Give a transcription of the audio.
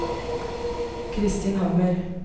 Christin Hammer